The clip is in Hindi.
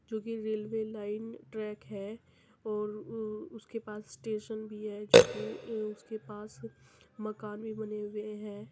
जो कि रेलवे लाइन ट्रैक है और उ-उसके पास स्टेशन भी है जो कि अ उसके पास मकान भी बने हुए हैं।